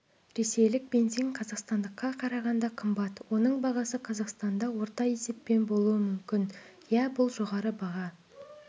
ресейлік бензин қазақстандыққа қарағанда қымбат оның бағасы қазақстанда орта есеппен болуы мүмкін иә бұл жоғары баға